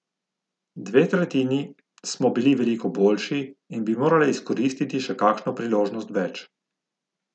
Dve tretjini smo bili veliko boljši in bi morali izkoristiti še kakšno priložnost več.